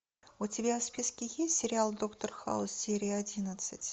у тебя в списке есть сериал доктор хаус серия одиннадцать